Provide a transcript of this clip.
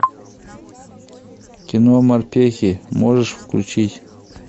кино морпехи можешь включить